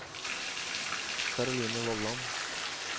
Caroline Vollan